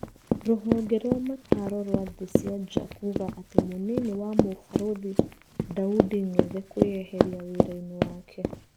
Rũhonge rwa mataro rwa thĩ cia nja kuga atĩ mũnini wa mũbarũthi Daudi Ng'ethe kwĩeheria wirainĩ wake.